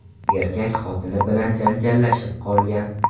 Erkak xotini bilan janjallashib qolgan.